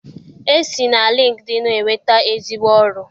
E si na lịnkdịịnụ enweta ezigbo ọrụ.